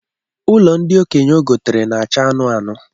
Ụlọ ndi okenye ọ gotere na-acha anụnụ anụnụ